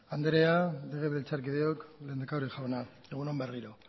andrea legebiltzarkideok lehendakari jauna egun on berriro